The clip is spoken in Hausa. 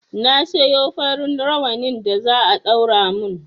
Na siyo farin rawanin da za a ɗaura mun